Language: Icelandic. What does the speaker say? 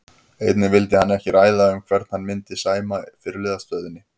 Einnig vildi hann ekki ræða um hvern hann myndi sæma fyrirliðastöðunni.